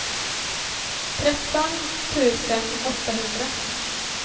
tretton tusen åttahundra